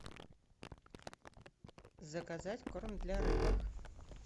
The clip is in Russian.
заказать корм для рыбок